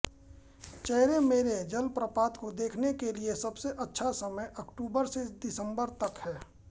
चैरेमैरे जलप्रपात को देखने के लिए सबसे अच्छा समय अक्टूबर से दिसंबर तक है